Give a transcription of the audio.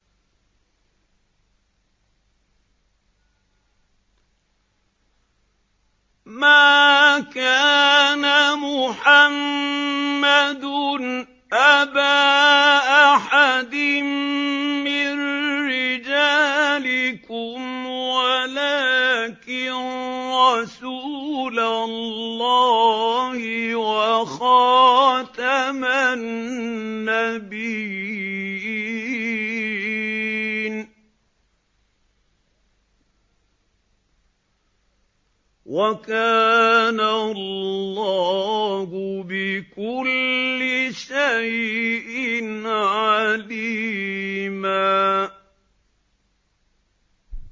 مَّا كَانَ مُحَمَّدٌ أَبَا أَحَدٍ مِّن رِّجَالِكُمْ وَلَٰكِن رَّسُولَ اللَّهِ وَخَاتَمَ النَّبِيِّينَ ۗ وَكَانَ اللَّهُ بِكُلِّ شَيْءٍ عَلِيمًا